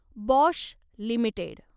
Bosch limited